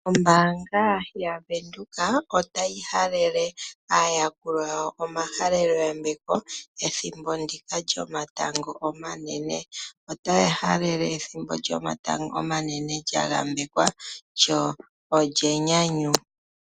Ombaanga yaVenduka otayi halele aayakulwa yawo omahalelo yambeko pethimbo ndika lyomatango omanene. Otaya halele ethimbo lyomatango omanene lya yambekwa, lyo olyenyanyu.